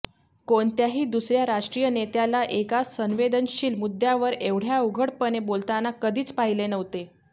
कोणत्याही दुसऱया राष्ट्रीय नेत्याला एका संवेदनशील मुद्यावर एवढय़ा उघडपणे बोलताना कधीच पाहिले नव्हते